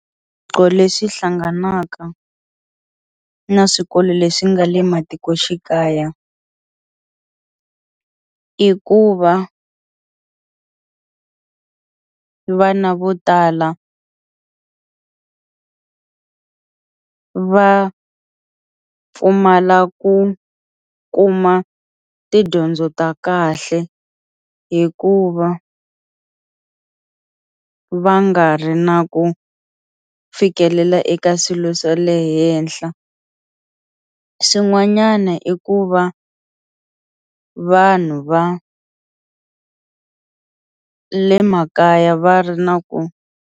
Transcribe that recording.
Swiphiqo leswi hlanganaka na swikolo leswi nga le matikoxikaya i ku va vana vo tala va va pfumala ku kuma tidyondzo ta kahle hikuva va nga ri na ku fikelela eka swilo swa le henhla swin'wanyana i ku va vanhu va le makaya va ri na .